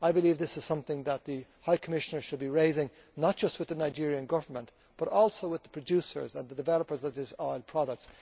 I believe this is something that the High Commission should be raising not just with the Nigerian Government but also with the producers and the developers of these oil products.